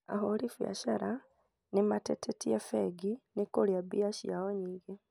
Ahũrĩ biacara nĩ matetetie bengi nĩ kũrĩa mbia ciao nyingĩ